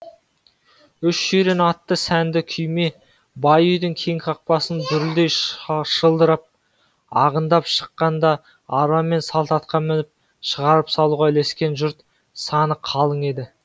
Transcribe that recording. үш жирен атты сәнді күйме бай үйдің кең қақпасынан дүрілдей шылдырап ағындап шыққанда арба мен салт атқа мініп шығарып салуға ілескен жұрт саны қалың еді